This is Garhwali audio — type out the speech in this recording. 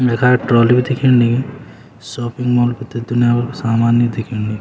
यखा ट्राली भी दिखेन लगीं सोपिंग मोल कु त दुनिया भर कु सामान हि दिखेंन ल्यू।